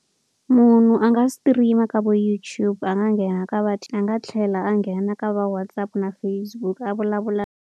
Munhu a nga stream a ka vo YouTube a nga nghena ka vadyi a nga tlhela a nghena ka va WhatsApp, na Facebook a vulavula.